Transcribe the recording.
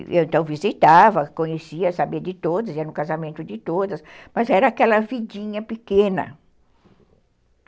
E eu então visitava, conhecia, sabia de todas, ia no casamento de todas, mas era aquela vidinha pequena.